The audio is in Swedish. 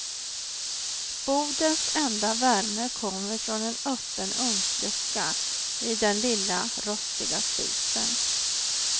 Bodens enda värme kommer från en öppen ugnslucka i den lilla rostiga spisen.